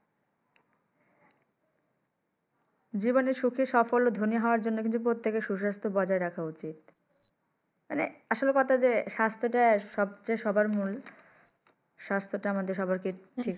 জীবনে সুখি সাফলের ধনী হওয়ার জন্য কিন্তু প্রত্যেকে সু-স্বাস্থ্য বজায় রাখা উচিৎ মানে আসল কথা যে স্বাস্থ্য টা যে সবার মূল স্বাস্থ্য টা সবাইকে ঠিক।